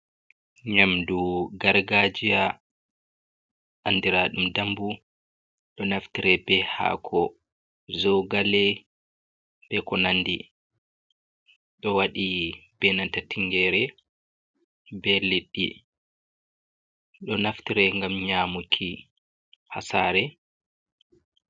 Ɲyamndu gargaajiya, anndiraaɗum dambu, ɗo naftire bee haako zoogale bee ko nandi, ɗo waɗi bee nanta tingeere bee liɗɗi, ɗo naftire ngam ɲyaamuki haa saare.